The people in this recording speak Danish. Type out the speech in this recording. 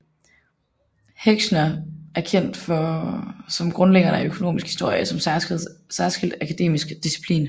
Heckscher er kendt som grundlæggeren af økonomisk historie som særskilt akademisk disciplin